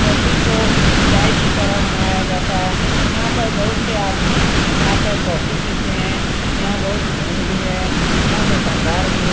Coffee को चाय की तरह बनाया जाता है। यहाँ पर बहुत से आदमी आकर कॉफी पीते है। यहाँ बहुत भीड़ भी है। यहाँ दुकानदार भी है |